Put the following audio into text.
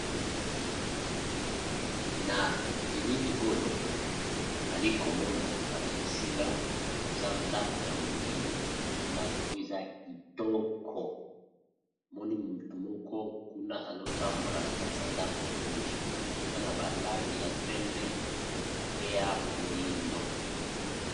Na bilili oyo nali komona balakisi nga eza ndako ya monene ndako oyo eza kitoko, namoni motu moko kuna azotambola na kati ya ndako oyo, eza na balangi ya pembe pe ya moindo.